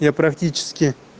я практически